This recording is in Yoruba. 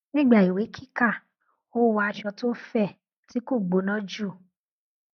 nígbà ìwé kíkà ó wọ aṣọ tó fẹ tí kò gbóná jù